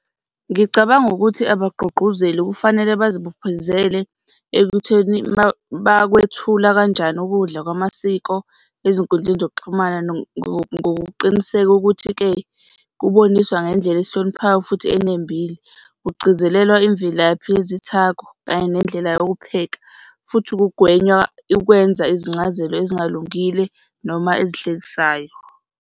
Ngicabanga ukuthi abagqugquzeli kufanele bazibophezele ekutheni bakwethula kanjani ukudla kwamasiko ezinkundleni zokuxhumana ngokuqiniseka ukuthi-ke kuboniswa ngendlela esihloniphayo futhi enembile. Kugcizelelwa imvelaphi yezithako kanye nendlela yokupheka futhi kugwenywa ukwenza izincazelo ezingalungile noma ezihlekisayo.